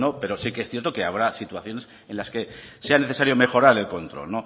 pero sí que es cierto que habrá situaciones en las que sea necesario mejorar el control